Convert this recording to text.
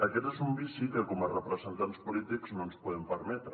aquest és un vici que com a representants polítics no ens podem permetre